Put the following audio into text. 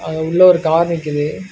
ஆ உள்ள ஒரு கார் நிக்கிது.